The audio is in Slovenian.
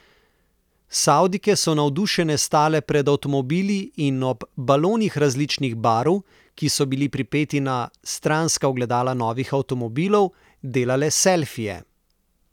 Savdijke so navdušene stale pred avtomobili in ob balonih različnih barv, ki so bili pripeti na stranska ogledala novih avtomobilov, delale selfije.